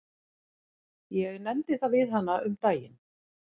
Ég nefndi það við hana um daginn.